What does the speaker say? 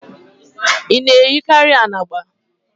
Ị na-eyikarị anagba?